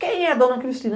Quem é a dona Cristina?